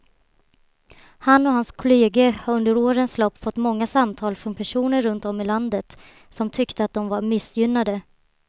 Han och hans kolleger har under årens lopp fått många samtal från personer runt om i landet som tyckte att de var missgynnade.